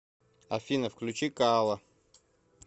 афина включи коала